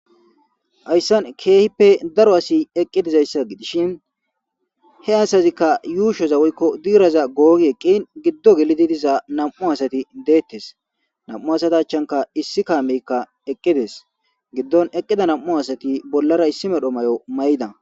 Haysan kehipe daro asi eqi dizayasa gidishin he asasiza yushoza woyko diraza gogi eqin gido gelidi diza nam'u detes nam'u asata achanka issi kameka eqides gidon nam'u asati bollara issi mala mayo mayida